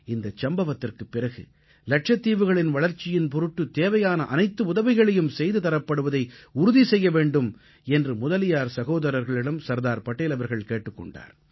இந்தச் சம்பவத்துக்குப் பிறகு லட்சத்தீவுகளின் வளர்ச்சியின் பொருட்டு தேவையான அனைத்து உதவிகளையும் செய்து தரப்படுவதை உறுதி செய்ய வேண்டும் என்று முதலியார் சகோதரர்களிடம் சர்தார் படேல் அவர்கள் கேட்டுக் கொண்டார்